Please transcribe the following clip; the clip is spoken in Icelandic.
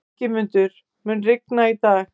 Ingimundur, mun rigna í dag?